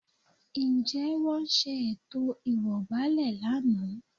Ǹjẹ́ wọ́n ṣe ètò ìwọ̀gbàlẹ̀ lánàá?